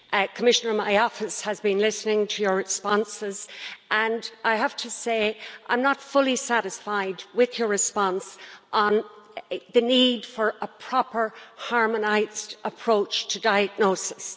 Commissioner, my office has been listening to your responses and, I have to say, I'm not fully satisfied with your response on the need for a proper, harmonised approach to diagnosis.